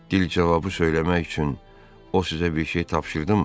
Dil cavabı söyləmək üçün o sizə bir şey tapşırdımı?